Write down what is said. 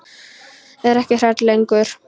Er ekki hrædd lengur.